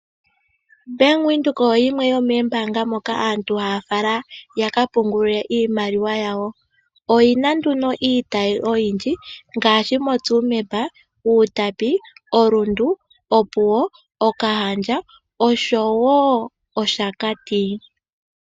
Bank Windhoek oyo yimwe yomombaanga hono aantu haya fala yakapungulilwe iimaliwa yawo. Oyina nduno iitayi oyindji ngaashi moTsumeb, Outapi, Rundu, Opuwo, Grootfontein, Okahao, Okahandja, Capricorn, Oshakati-north oshowo Oshakati Santorini service.